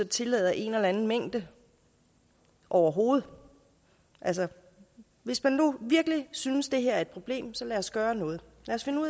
tillader en eller anden mængde overhovedet hvis man virkelig synes det her er et problem så lad os gøre noget